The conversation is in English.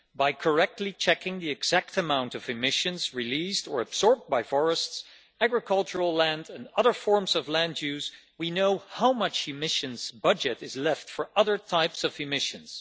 By correctly checking the exact amount of emissions released or absorbed by forests, agricultural land and other forms of land use, we know how much emissions budget is left for other types of emissions.